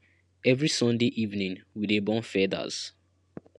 every sunday evening we dey burn feathers